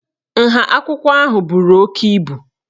Nha akwụkwọ ahụ buru oke ibu